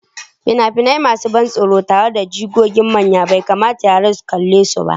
Fina-finai masu ban tsoro tare da jigogin manya bai kamata yara su kalle su ba.